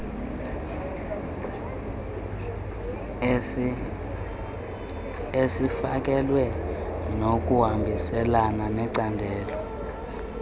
esifakelwe ngokuhambiselana necandelo